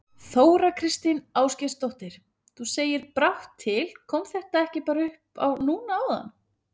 Þóra Kristín Ásgeirsdóttir: Þú segir brátt til, kom þetta ekki bara upp á núna áðan?